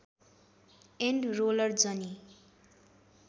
and roller जनी